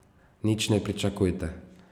Nič ne pričakujte.